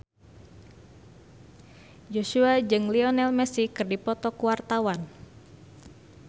Joshua jeung Lionel Messi keur dipoto ku wartawan